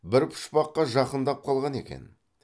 бір пұшпаққа жақындап қалған екен